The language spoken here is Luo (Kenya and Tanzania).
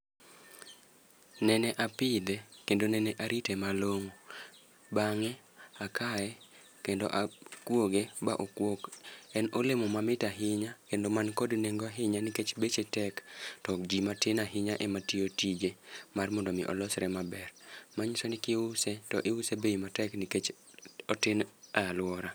Nene apidhe kendo nene arite malong'o. Bang'e akaye kendo akuoge ma okuok e olemo ma mit ahinya kendo man kod nengo ahinya nikech beche tek to jii matin ahinya ema tiyo tije mondo mi olosre maber .Manyiso ni kiuse to use bei matek nikech otin e eluora.